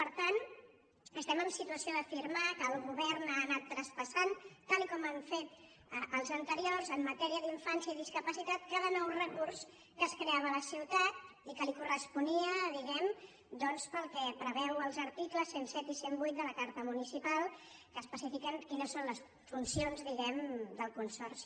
per tant estem en situació d’afirmar que el govern ha anat traspassant tal com han fet els anteriors en matèria d’infància i discapacitat cada nou recurs que es creava a la ciutat i que li corresponia diguem·ne doncs pel que preve·uen els articles cent i set i cent i vuit de la carta municipal que es·pecifiquen quines són les funcions del consorci